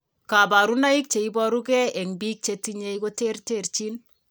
Kabarunaik cheboru gee en biik chetinye ko terterchin